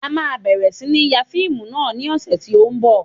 A máa bẹ̀rẹ̀ sí ní ń ya fíìmù náà ní ọ̀sẹ̀ tí ó ń bọ̀